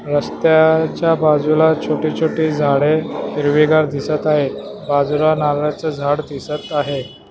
रस्त्याच्या बाजूला छोटे छोटे झाडे हिरवीगार दिसत आहेत बाजूला नारळाचं झाड दिसत आहे.